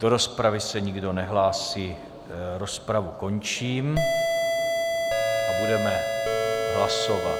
Do rozpravy se nikdo nehlásí, rozpravu končím a budeme hlasovat.